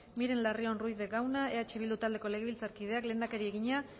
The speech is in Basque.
miren larrion ruiz de gauna eh bildu taldeko legebiltzarkideak lehendakariari egina